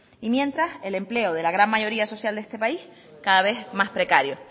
y mientras el empleo de la gran mayoría social de este país cada vez más precario